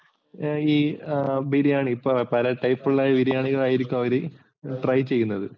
ഈ ബിരിയാണി പല type ലുള്ള ബിരിയാണികളായിരിക്കും അവര് try ചെയ്യുന്നത്.